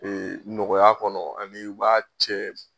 Ee nɔgɔya kɔnɔ ani u b'a cɛ